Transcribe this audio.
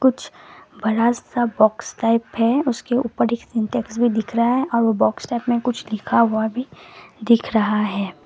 कुछ बड़ा सा बॉक्स टाइप है उसके ऊपर एक इंडेक्स भी दिख रहा है और वो बॉक्स टाइप में कुछ लिखा हुआ भी दिख रहा है।